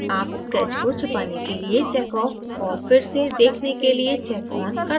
आप sketch को छिपाने के लिए check off औऱ फिर से दिखने के लिए check on कर सकते हैं